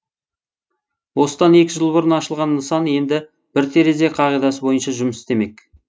осыдан екі жыл бұрын ашылған нысан енді бір терезе қағидасы бойынша жұмыс істемек